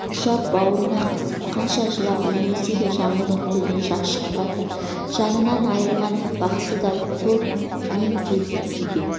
ұштап баурына қысып қанша жылап-еңіресе де жаңылдың көзінен жас шықпады жынынан айырылған бақсыдай сол мең-зең күйде